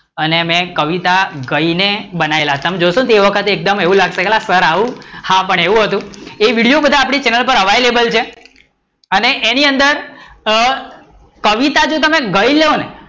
અને મેં કવિતા ગઈ ને બનાયેલા તમે જોશો ને તએ વખતે એકદમ એવું લાગશે કે સર આવું, પણ હા એવું હતું એ વિડિઓ આપડી ચેનલ પર અવેલેબલ છેઅને એની અંદર કવિતા તમે જો ગઈ લો ને